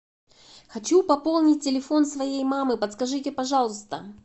хочу пополнить телефон своей мамы подскажите пожалуйста